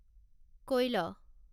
কৈল